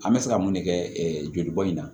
An bɛ se ka mun de kɛ joli bɔn in na